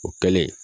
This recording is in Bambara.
O kɛlen